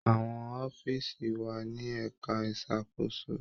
Àwọn ọfíisi wà ní ẹka ìṣàkóso.